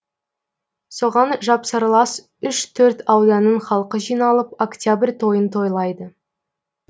соған жапсарлас үш төрт ауданның халқы жиналып октябрь тойын тойлайды